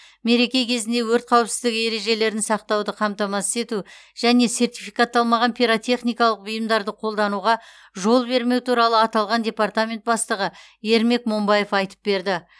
мереке кезінде өрт қауіпсіздігі ережелерін сақтауды қамтамасыз ету және сертификатталмаған пиротехникалық бұйымдарды қолдануға жол бермеу туралы аталған департамент бастығы ермек момбаев айтып берді